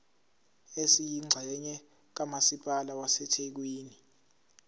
esiyingxenye kamasipala wasethekwini